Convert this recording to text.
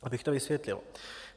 Abych to vysvětlil.